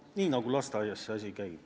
Nii see asi lasteaias käib.